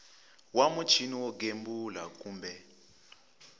wa muchini wo gembula kumbe